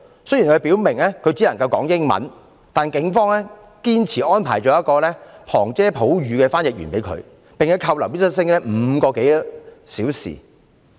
雖然他表明自己只能夠說英文，但警方堅持安排一名旁遮普語的翻譯員給他，並把他扣留5個多小時。